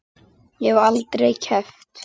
Ég hef aldrei keppt.